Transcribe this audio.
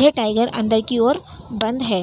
यह टाईगर अंदर की ओर बंद है।